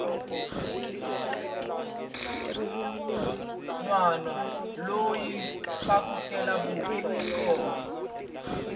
nwana loyi u phyakutela vuswa hi mkombe